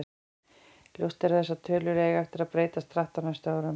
Ljóst er að þessar tölur eiga eftir að breytast hratt á næstu árum.